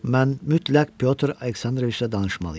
Mən mütləq Pyotr Aleksandroviçlə danışmalıyam.